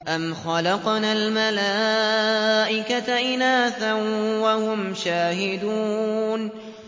أَمْ خَلَقْنَا الْمَلَائِكَةَ إِنَاثًا وَهُمْ شَاهِدُونَ